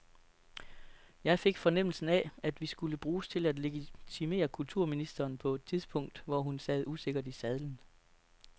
Jeg fik fornemmelsen af, at vi skulle bruges til at legitimere kulturministeren på et tidspunkt, hvor hun sad usikkert i sadlen.